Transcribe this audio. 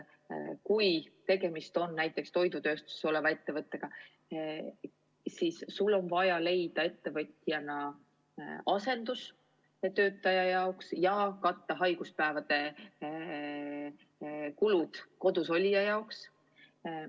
Kui tegemist on näiteks toidutööstusettevõttega, siis sul on ettevõtjana vaja leida asendustöötaja jaoks raha ja katta haiguspäevade kulud kodus olija jaoks.